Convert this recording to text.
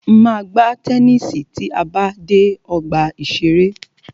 Máa gbá tennisi tí a bá ti dé ọgbà ìṣẹ̀rẹ́.